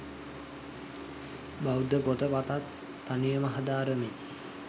බෞද්ධ පොත පතත් තනිව හදාරමින්